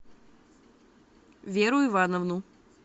веру ивановну